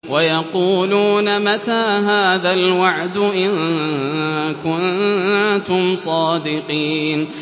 وَيَقُولُونَ مَتَىٰ هَٰذَا الْوَعْدُ إِن كُنتُمْ صَادِقِينَ